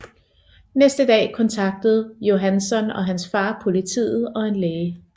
Næste dag kontaktede Johanson og hans far politiet og en læge